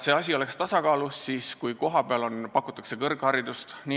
See asi on tasakaalus, kui kohapeal pakutakse kõrgharidust.